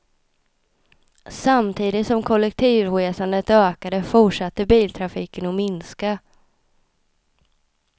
Samtidigt som kollektivresandet ökade, fortsatte biltrafiken att minska.